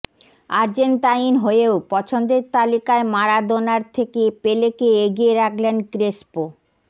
Argentine হয়েও পছন্দের তালিকায় মারাদোনার থেকে পেলেকে এগিয়ে রাখলেন ক্রেসপো